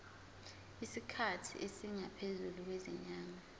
isikhathi esingaphezulu kwezinyanga